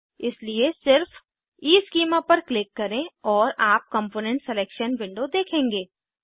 इसलिए सिर्फ ईस्कीमा पर क्लिक करें और आप कम्पोनेंट सिलेक्शन विंडो देखेंगे